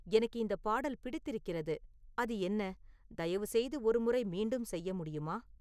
எனக்கு இந்த பாடல் பிடித்திருக்கிறது அது என்ன தயவு செய்து ஒரு முறை மீண்டும் செய்ய முடியுமா